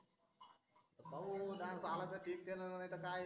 आता पाहू dance आला तर ठीक त्यान नाही तर काय